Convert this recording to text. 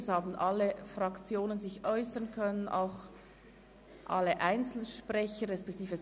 es haben sich alle Fraktionen äussern können, und es hat keine Einzelsprecher gegeben.